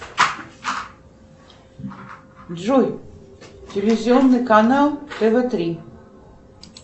джой телевизионный канал тв три